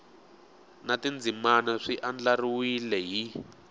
na tindzimana swi andlariwile hi